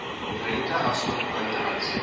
rente asook buitelandse